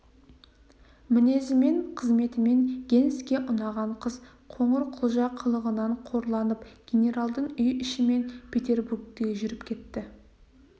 мінезімен қызметімен генске ұнаған қыз қоңырқұлжа қылығынан қорланып генералдың үй ішімен петербургке жүріп кетті